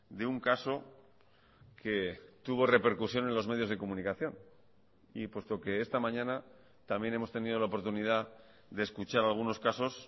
de un caso que tuvo repercusión en los medios de comunicación y puesto que esta mañana también hemos tenido la oportunidad de escuchar algunos casos